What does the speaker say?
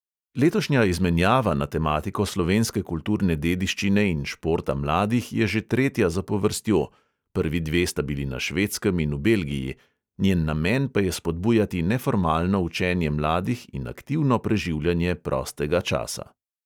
Letošnja izmenjava na tematiko slovenske kulturne dediščine in športa mladih je že tretja zapovrstjo – prvi dve sta bili na švedskem in v belgiji – njen namen pa je spodbujati neformalno učenje mladih in aktivno preživljanje prostega časa.